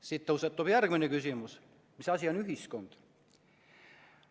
Siit tõusetub järgmine küsimus: mis asi on ühiskond?